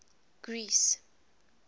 greece